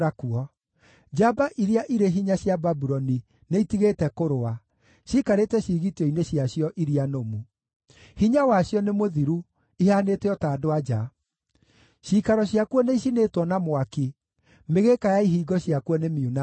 Njamba iria irĩ hinya cia Babuloni nĩitigĩte kũrũa; ciikarĩte ciĩgitio-inĩ ciacio iria nũmu. Hinya wacio nĩ mũthiru; ihaanĩte o ta andũ-a-nja. Ciikaro ciakuo nĩicinĩtwo na mwaki; mĩgĩĩka ya ihingo ciakuo nĩ miunange.